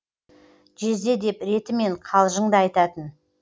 жезде деп ретімен қалжың да айтатын